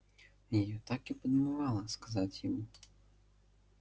её так и подмывало сказать ему